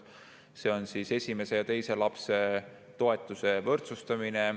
See on esimese ja teise lapse toetuse võrdsustamine.